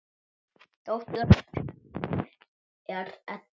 Dóttir þeirra er Edda.